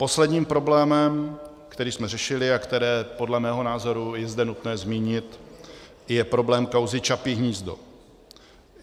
Posledním problémem, který jsme řešili a který podle mého názoru je zde nutné zmínit, je problém kauzy Čapí hnízdo.